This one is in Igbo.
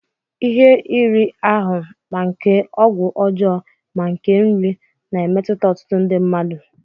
Ihe iri ahụ, ma nke ọgwụ ọjọọ, ma nke nri, na-emetụta ọtụtụ ndị mmadụ.